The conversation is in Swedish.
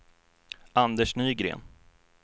Anders Nygren